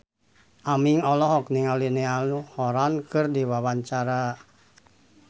Aming olohok ningali Niall Horran keur diwawancara